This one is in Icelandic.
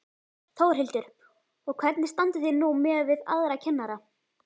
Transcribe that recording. Þórhildur: Og hvernig standið þið núna miðað við aðra kennara?